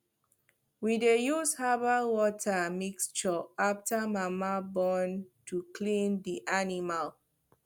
we de use herbal water mixture after mama born to clean the animal